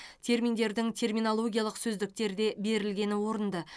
терминдердің терминологиялық сөздіктерде берілгені орынды